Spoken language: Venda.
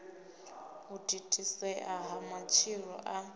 u thithisea ha matshilo a